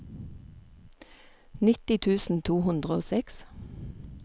nitti tusen to hundre og seks